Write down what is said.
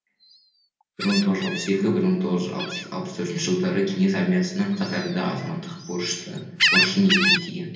бір мың тоғыз жүз алпыс екі бір мың тоғыз жүз алпыс төртінші жылдары кеңес армиясының қатарында азаматтық борышын өтеген